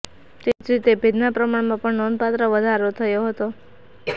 તેવી જ રીતે ભેજના પ્રમાણમાં પણ નોંધપાત્ર વધારો થયો હતો